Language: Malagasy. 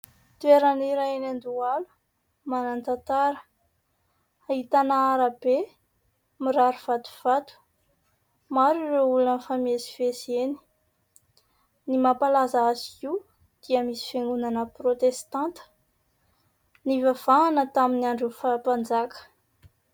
Toerana iray any Andohalo, manan-tantara, ahitana arabe mirary vatovato. Maro ireo olona mifamezivezy eny. Ny mampalaza azy io dia misy fiangonana protestanta nivavahana tamin'ny andron'ny faha-mpanjaka.